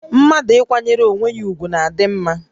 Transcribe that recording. Mmadụ ịkwanyere onwé ya ùgwù na-adị mmá